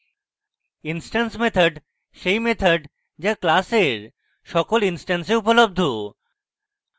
instance methods সেই methods যা class সকল ইনস্ট্যান্সে উপলব্ধ